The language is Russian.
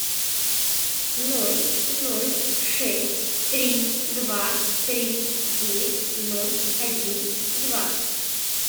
ноль ноль шесть три два три девять ноль один два